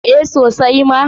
A sosai ma.